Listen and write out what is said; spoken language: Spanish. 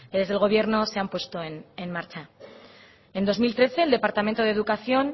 desde el gobierno se han puesto en marcha en dos mil trece el departamento de educación